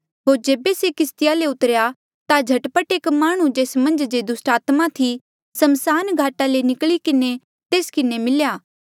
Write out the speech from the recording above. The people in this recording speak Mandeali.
होर जेबे से किस्तिया ले उतरेया ता झट पट एक माह्णुं जेस मन्झ जे दुस्टात्मा थी समसान घाटा ले निकली किन्हें तेस किन्हें मिल्या